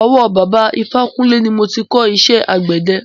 Ọwọ́ bàbá ifákúnle ni mo ti máa kọ́ iṣẹ́ àgbẹ̀dẹ.